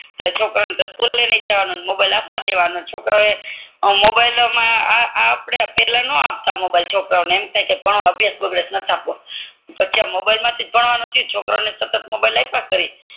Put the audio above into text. એટલે દફતર ની લેવાનું ને મોબાઈલ આપવાનું છોકરાઓ ને મોબાઈલ મા આપડે પેલા નો આપતા એમ થાય કે ભણવા બેસ મોબાઈલ નથ આપવો અત્યાર મોબાઈલ મથીજ ભણવાનું થયું છોકરાઓને સતત મોબાઈલ આપ્યા કરીએ